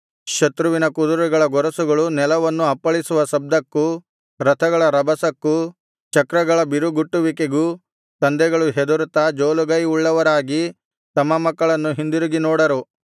ಶತ್ರುವಿನ ಕುದುರೆಗಳ ಗೊರಸುಗಳು ನೆಲವನ್ನು ಅಪ್ಪಳಿಸುವ ಶಬ್ದಕ್ಕೂ ರಥಗಳ ರಭಸಕ್ಕೂ ಚಕ್ರಗಳ ಬಿರುಗುಟ್ಟುವಿಕೆಗೂ ತಂದೆಗಳು ಹೆದರುತ್ತಾ ಜೋಲುಗೈ ಉಳ್ಳವರಾಗಿ ತಮ್ಮ ಮಕ್ಕಳನ್ನು ಹಿಂದಿರುಗಿ ನೋಡರು